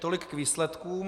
Tolik k výsledkům.